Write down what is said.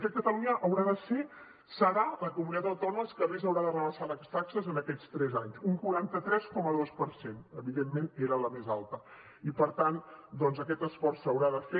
de fet catalunya haurà de ser serà la comunitat autònoma que més haurà de rebaixar les taxes en aquests tres anys un quaranta tres coma dos per cent evidentment era la més alta i per tant doncs aquest esforç s’haurà de fer